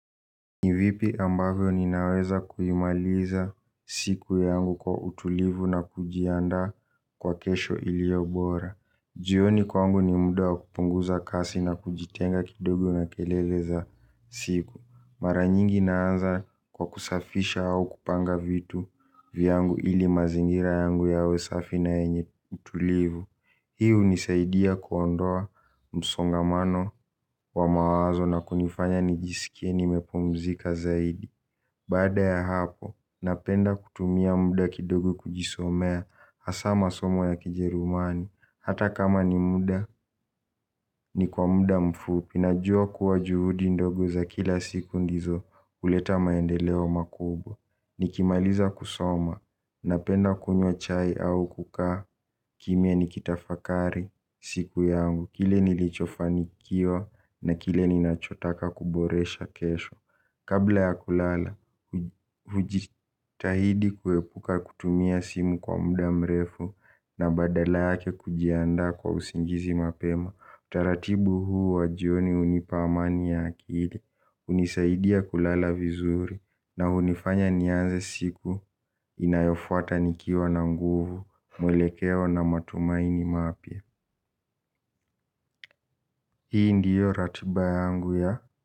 Ni vipi ambavyo ninaweza kuimaliza siku yangu kwa utulivu na kujiandaa kwa kesho iliyo bora. Jioni kwangu ni muda wa kupunguza kasi na kujitenga kidogo na kelele za siku. Mara nyingi naanza kwa kusafisha au kupanga vitu vyangu ili mazingira yangu yawe safi na yenye utulivu. Hii hunisaidia kuondoa msongamano wa mawazo na kunifanya nijisikie nimepumzika zaidi. Baada ya hapo, napenda kutumia muda kidogo kujisomea hasa masomo ya kijerumani. Hata kama ni muda, ni kwa muda mfupi najua kuwa juhudi ndogo za kila siku ndizo huleta maendeleo makubwa. Nikimaliza kusoma, napenda kunywa chai au kukaa kimya nikitafakari siku yangu. Kile nilichofanikiwa na kile ninachotaka kuboresha kesho. Kabla ya kulala, hujitahidi kuepuka kutumia simu kwa muda mrefu na badala yake kujiandaa kwa usingizi mapema. Utaratibu huu wa jioni unipa amani ya akili hunisaidia kulala vizuri na hunifanya nianze siku inayofuata nikiwa na nguvu. Mwelekeo na matumaini mapya. Hii ndiyo ratiba yangu ya.